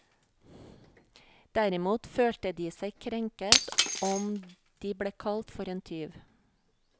Derimot følte de seg krenket om de ble kalt for en tyv.